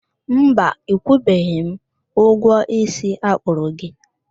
Mba, ịkwụbeghị m ụgwọ isi akpụrụ gị